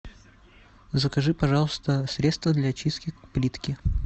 закажи пожалуйста средство для чистки плитки